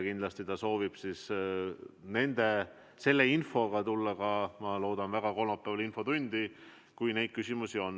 Kindlasti ta soovib sealt saadud infoga tulla ka kolmapäeval infotundi, vähemalt ma väga loodan seda.